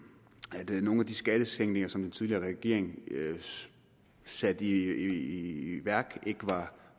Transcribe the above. nu at de skattesænkninger som den tidligere regering satte i værk ikke var